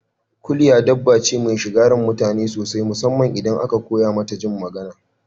Kuliya dabba ce mai shiga ran mutane sosai musamman idan aka koya Mata jin magana